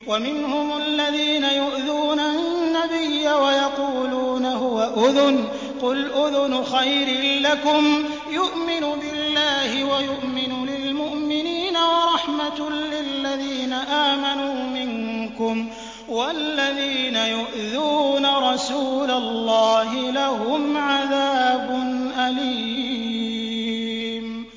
وَمِنْهُمُ الَّذِينَ يُؤْذُونَ النَّبِيَّ وَيَقُولُونَ هُوَ أُذُنٌ ۚ قُلْ أُذُنُ خَيْرٍ لَّكُمْ يُؤْمِنُ بِاللَّهِ وَيُؤْمِنُ لِلْمُؤْمِنِينَ وَرَحْمَةٌ لِّلَّذِينَ آمَنُوا مِنكُمْ ۚ وَالَّذِينَ يُؤْذُونَ رَسُولَ اللَّهِ لَهُمْ عَذَابٌ أَلِيمٌ